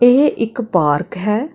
ਇਹ ਇੱਕ ਪਾਰਕ ਹੈ।